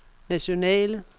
nationale